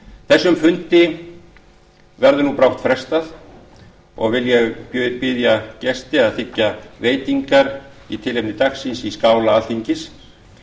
þessum þingfundi verður brátt frestað og vil ég biðja gesti að þiggja veitingar í tilefni dagsins í skála alþingis